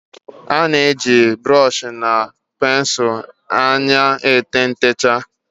a na-eji brooshi na pensụl anya ete ntechaa